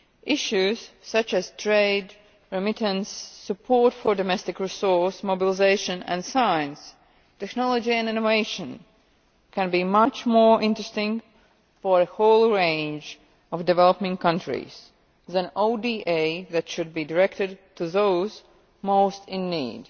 Issues such as trade, remittance, support for domestic resources, mobilisation, and science, technology and innovation can be much more interesting for a whole range of developing countries than ODA, which should be directed to those most in need.